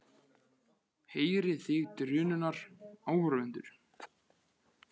Heyrið þig drunurnar, áhorfendur?